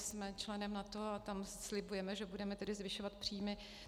Jsme členem NATO a tam slibujeme, že budeme tedy zvyšovat příjmy.